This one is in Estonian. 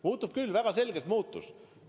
Muutus küll, väga selgelt muutus.